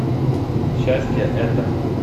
счастье это